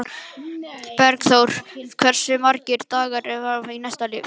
Bergþór, hversu margir dagar fram að næsta fríi?